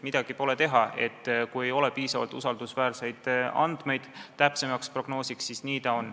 Midagi pole teha, kui ei ole piisavalt usaldusväärseid andmeid täpsemaks prognoosiks, siis nii see on.